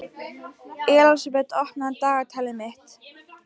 Elísabet, opnaðu dagatalið mitt.